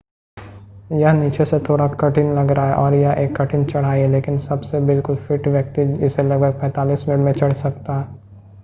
यह नीचे से थोड़ा कठिन लग रहा है और यह एक कठिन चढ़ाई है लेकिन सबसे बिल्कुल फ़िट व्यक्ति इसे लगभग 45 मिनट में चड़ सकता है